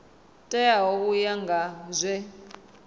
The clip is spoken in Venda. teaho u ya nga zwe